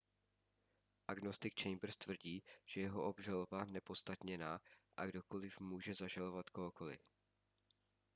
agnostik chambers tvrdí že je jeho obžaloba neopodstatněná a kdokoli může zažalovat kohokoli